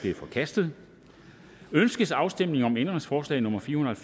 er forkastet ønskes afstemning om ændringsforslag nummer fire hundrede og